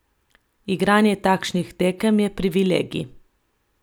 Igranje takšnih tekem je privilegij.